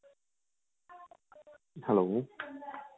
hello